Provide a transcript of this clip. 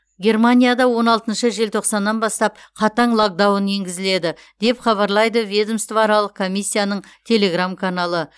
германияда он алтыншы желтоқсаннан бастап қатаң локдаун енгізіледі деп хабарлайды ведомствоаралық комиссияның телеграм каналы